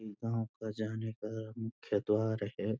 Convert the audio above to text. गाँव का जाने का मुख्य द्वार है।